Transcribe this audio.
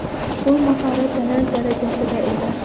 Bu mahorat talant darajasida edi.